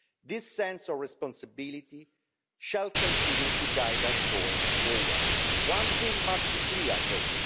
This sense of responsibility shall continue to guide us going forward. One thing must be clear, though.